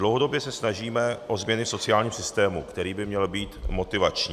Dlouhodobě se snažíme o změny v sociálním systému, který by měl být motivační.